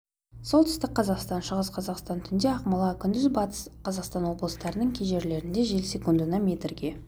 солтүстік қазақстан шығыс қазақстан түнде ақмола күндіз батыс қазақстан облыстарының кей жерлерінде жел секундына метрге